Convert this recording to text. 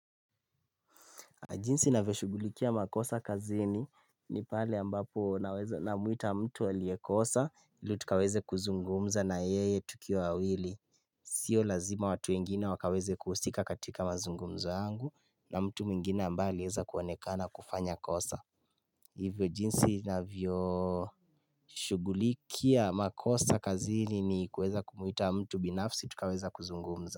Jinsi navyoshugulikia makosa kazini ni pale ambapo naweza namuita mtu aliyekosa ili tukaweze kuzungumza na yeye tukiwa wawili Sio lazima watu wengine wakaweze kuhusika katika mazungumzo yangu na mtu mwingine ambaye anaeza kuonekana kufanya kosa Hivyo jinsi navyoshugulikia makosa kazini ni kuweza kumwita mtu binafsi tukaweza kuzungumza.